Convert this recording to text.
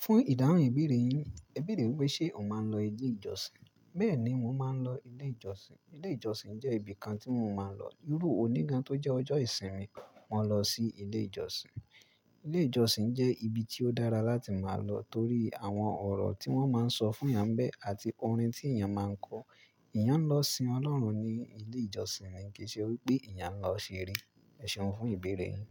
Fún ìdáhùn ìbéèrè yín, ẹ béèrè pé ṣe o máa ń lọ ilé ìjọsìn? Bẹ́ẹ̀ni, mo máa ń lọ ilé ìjọsìn. Ilé ìjọsìn jẹ́ ibi kan tí mo máa ń lọ. Iru oní gan tó jẹ́ ọjọ́ ìsinmi, mo lọ sí ilé ìjọsìn. Ilé ìjọsìn jẹ́ ibi tí ó dára láti máa lọ torí àwọn ọ̀rọ̀ tí wọ́n máa ń sọ fún iyanbe àti orin tí èèyàn máa ń kọ. Eyán lọ sin Ọlọ́run ní ilé ìjọsìn ni kìí ṣe wípé eyán lọ ṣeré. Ẹ̀ṣeun fún ìbéèrè yín.